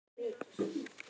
Getur það ekki.